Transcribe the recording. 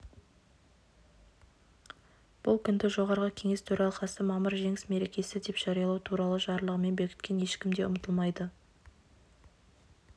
бұл күнді жоғарғы кеңес төралқасы мамыр жеңіс мерекесі деп жариялау туралы жарлығымен бекіткен ешкім де ұмытылмайды